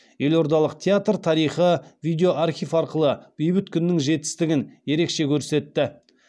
елордалық театр тарихи видеоархив арқылы бейбіт күннің жетістігін ерекше көрсетті